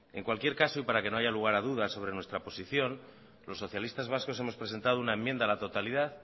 en cualquier caso y para que no haya lugar a dudas sobre nuestra posición los socialistas vascos hemos presentado una enmienda a la totalidad